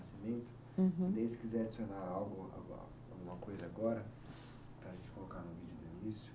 Uhum. Daí se quiser adicionar algo, alguma coisa agora, para a gente colocar no vídeo do início.